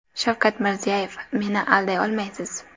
Shavkat Mirziyoyev: Meni alday olmaysiz.